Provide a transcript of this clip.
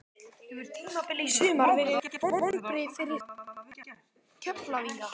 Hefur tímabilið í sumar verið vonbrigði fyrir Keflvíkinga?